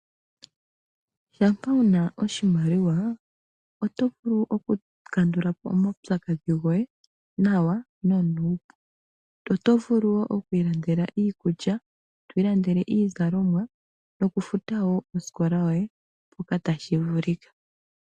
Shampa wu na oshimaliwa oto vulu okukandula po omaupyakadhi goye nawa nonuupu. Oto vulu wo oku ilandela iikulya, to ilandele iizalomwa nokufuta wo osikola yoye mpoka tashi vulika.